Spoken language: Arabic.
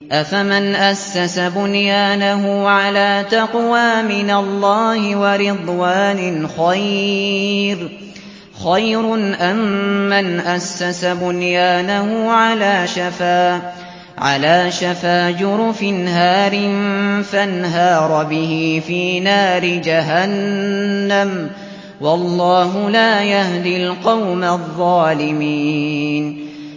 أَفَمَنْ أَسَّسَ بُنْيَانَهُ عَلَىٰ تَقْوَىٰ مِنَ اللَّهِ وَرِضْوَانٍ خَيْرٌ أَم مَّنْ أَسَّسَ بُنْيَانَهُ عَلَىٰ شَفَا جُرُفٍ هَارٍ فَانْهَارَ بِهِ فِي نَارِ جَهَنَّمَ ۗ وَاللَّهُ لَا يَهْدِي الْقَوْمَ الظَّالِمِينَ